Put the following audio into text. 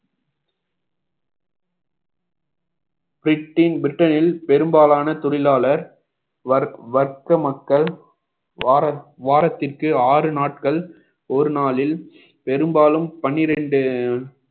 பிரிட்டின் பிரிட்டனில் பெரும்பாலான தொழிலாளர் வர்~ வர்க்க மக்கள் வார~ வாரத்திற்கு ஆறு நாட்கள் ஒரு நாளில் பெரும்பாலும் பனிரெண்டு